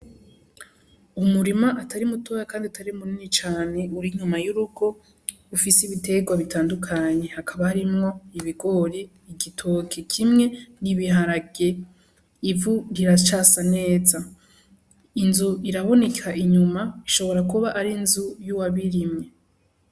Umurima atari mutoya kandi atari munini cane uri inyuma y'urugo ufise ibiterwa bitandukanye, hakaba harimwo ibigori, igitoki kimwe n'ibiharage. Ivu riracasa neza, inzu iraboneka inyuma, ishobora kuba ari inzu y'uwabirimye.